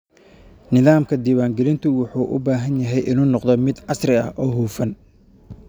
Nidaamka diiwaangelintu wuxuu u baahan yahay inuu noqdo mid casri ah oo hufan.